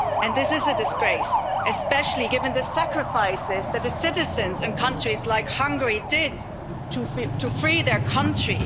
This is a disgrace, especially given the sacrifices that the citizens in countries like Hungary made to free their country.